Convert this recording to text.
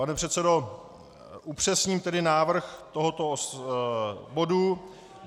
Pane předsedo, upřesním tedy návrh tohoto bodu.